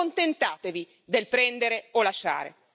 Non accontentatevi del prendere o lasciare.